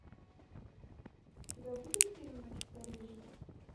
у тебя будет фильм ночь в париже